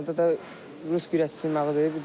Finalda da rus güləşçisini məğlub elədim.